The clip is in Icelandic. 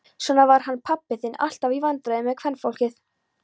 Svona var hann pabbi þinn, alltaf í vandræðum með kvenfólkið.